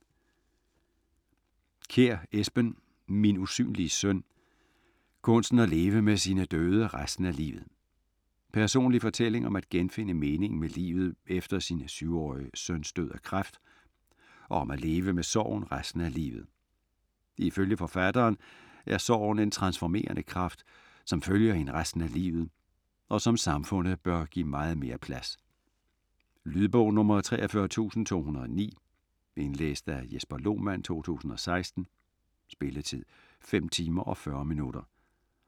Kjær, Esben: Min usynlige søn - kunsten at leve med sine døde resten af livet Personlig fortælling om at genfinde meningen med livet efter sin 7-årige søns død af kræft, og om at leve med sorgen resten af livet. Ifølge forfatteren er sorgen en transformerende kraft, som følger én resten af livet, og som samfundet bør give meget mere plads. Lydbog 43209 Indlæst af Jesper Lohmann, 2016. Spilletid: 5 timer, 40 minutter.